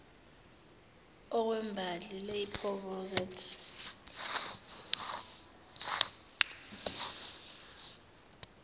okwembali lapel rosette